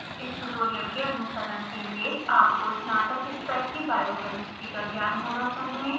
इस ट्यूटोरियल के अनुसरण के लिए आपको स्नातक स्तर की biochemistry का ज्ञान होना चाहिए